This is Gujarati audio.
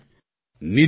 ફૉન કૉલ સમાપ્ત